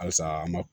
Halisa an ma